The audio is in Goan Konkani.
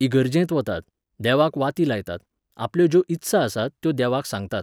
इगर्जेंत वतात, देवाक वाती लायतात, आपल्यो ज्यो इत्सा आसात त्यो देवाक सांगतात.